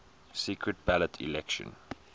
secret ballot election